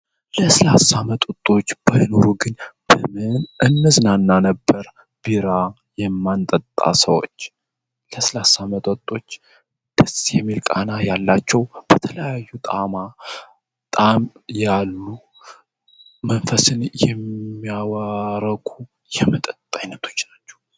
ለስላሳ መጠጦች ባይኖሩ ግን በምን እነዝናና ነበር ቢራ የማንጠጣ ሰዎች ለስላሳ መጠጦች ደስ የሚል ቃና ያላቸው በተለያዩ ጣማ ጣም ያሉ መንፈስን የሚያረኩ የመጠጥ አይነቶች ናቸው።